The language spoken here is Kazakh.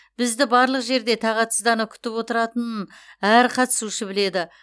бізді барлық жерде тағатсыздана күтіп отыратынын әр қатысушы біледі